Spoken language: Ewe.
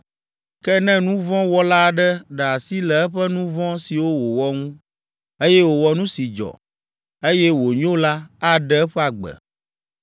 Ke ne nu vɔ̃ wɔla aɖe ɖe asi le eƒe nu vɔ̃ siwo wòwɔ ŋu, eye wòwɔ nu si dzɔ, eye wònyo la, aɖe eƒe agbe.